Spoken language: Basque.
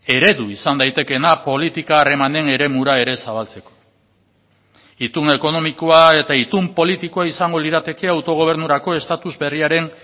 eredu izan daitekeena politika harremanen eremura ere zabaltzeko itun ekonomikoa eta itun politikoa izango lirateke autogobernurako estatus berriaren